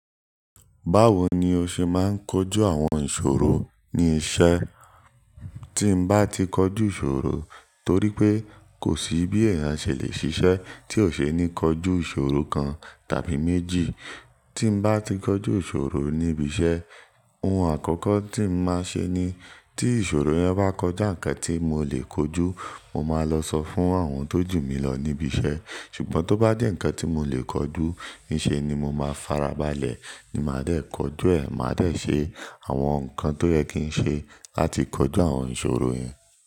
Báwo ni o ṣe máa ń kojú àwọn ìṣòro ní iṣẹ́? Tín bá ti kojú ìṣòro, torí pé kò sí bí eeyan ṣè lè ṣiṣẹ́ tí ò ṣe ni kọjú ìṣòro kan tàbí méjì. Tí mo bá ti kojú ìṣòro ní ibi iṣẹ́, ohun àkọ́kọ́ tí mo máa ṣe ni tí ìṣòro yẹn bá kọjú nnkan tí mo lè kojú, mo máa lọ sọ fún àwọn tó jù mí lọ ní ibi iṣẹ́. Ṣùgbọ́n tó bá jẹ́ ǹkan tí mo lè kojú, níṣe ni mo máa farabalẹ̀ ni màá dé kọjú ẹ̀. Màá dé ṣe àwọn nǹkan tó yẹ kí ń ṣe láti kojú àwọn ìṣòro yẹn.